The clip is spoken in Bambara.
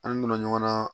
An nɔnɔ ɲɔgɔnna